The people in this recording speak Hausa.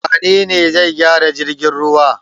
Wane ne zai gyara jirgin ruwa?